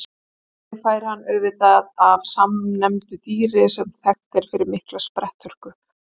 Nafnið fær hann auðvitað af samnefndu dýri sem þekkt er fyrir mikla spretthörku.